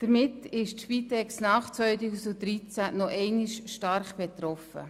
Damit ist die Spitex nach 2013 nochmals stark betroffen.